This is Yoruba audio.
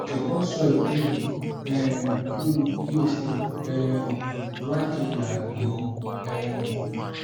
jọwọ sọ ìdí rẹ um fún mi kí o sì um wádìí àrùn mi um